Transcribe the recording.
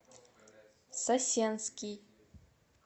сосенский